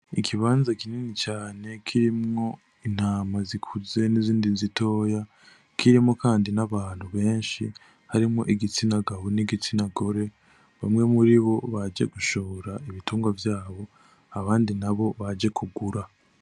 Igibanza kinini cane kirimwo intama zikuze n'izindi zitoya kirimwo, kandi n'abantu benshi harimwo igitsina gabo n'igitsina gore bamwe muri bo baje gushora ibitungwa vyabo abandi na bo baje kugura.